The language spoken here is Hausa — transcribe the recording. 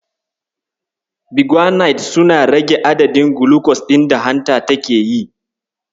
Biguanides suna rage adadin gulucos ɗin da hanta take yi.